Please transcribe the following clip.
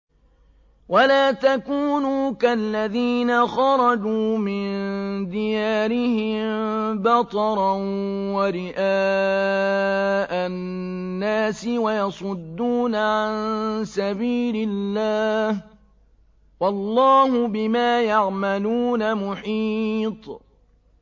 وَلَا تَكُونُوا كَالَّذِينَ خَرَجُوا مِن دِيَارِهِم بَطَرًا وَرِئَاءَ النَّاسِ وَيَصُدُّونَ عَن سَبِيلِ اللَّهِ ۚ وَاللَّهُ بِمَا يَعْمَلُونَ مُحِيطٌ